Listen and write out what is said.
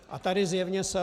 A tady zjevně selhal.